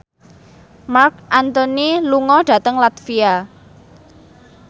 Marc Anthony lunga dhateng latvia